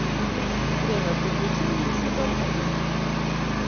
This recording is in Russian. время приключений сезон один